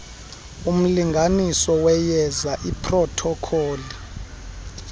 umlinganiso weyeza iprothokholi